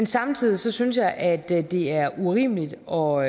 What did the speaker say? samtidig synes jeg at det er urimeligt og